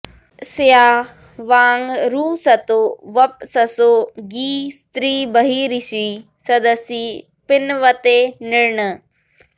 उ॒त स्या वां॒ रुश॑तो॒ वप्स॑सो॒ गीस्त्रि॑ब॒र्हिषि॒ सद॑सि पिन्वते॒ नॄन्